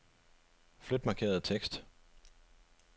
Flyt markerede tekst.